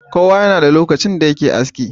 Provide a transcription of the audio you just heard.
Kowa yana da lokacin da yake aski.